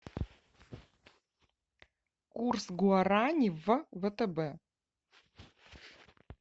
курс гуарани в втб